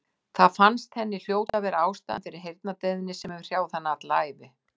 Það fannst henni hljóta að vera ástæðan fyrir heyrnardeyfðinni sem hefur hrjáð hana alla ævi.